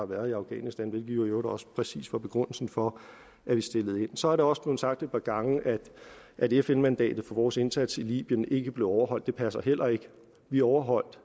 været i afghanistan hvilket jo i øvrigt også præcis var begrundelsen for at vi stillede så er det også blevet sagt et par gange at fn mandatet for vores indsats i libyen ikke blev overholdt det passer heller ikke vi overholdt